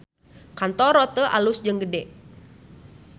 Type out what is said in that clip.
Kantor Rote alus jeung gede